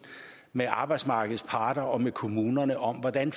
med arbejdsmarkedets parter og med kommunerne om hvordan